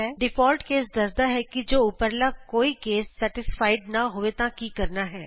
default case ਦੱਸਦਾ ਹੈ ਕਿ ਜੇ ਉਪਰਲਾ ਕੋਈ ਕੇਸ ਸੇਟਿਸਫਾਈਡ ਨਾਂ ਹੋਵੇ ਤਾਂ ਕੀ ਕਰਨਾ ਹੈ